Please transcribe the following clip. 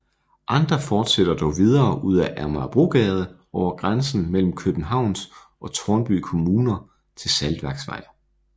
Andre fortsætter dog videre ud ad Amagerbrogade over grænsen mellem Københavns og Tårnby Kommuner til Saltværksvej